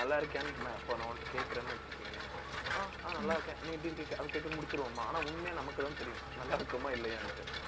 நல்லா இருக்கியான்னு, அப்போ, நான் உன்கிட்ட, கேட்கிறேன்னு வச்சுக்கயேன் ஆஹ் ஆஹ் நல்லா இருக்கேன். நீ எப்படி இருக்க அப்படி கேட்டு முடிச்சிருவோம்மா. ஆனா, உண்மையா நமக்குத்தான் தெரியும். நல்லா இருக்கோமா, இல்லையான்னுட்டு